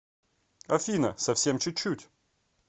афина совсем чуть чуть